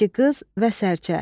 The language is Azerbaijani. İki qız və sərçə.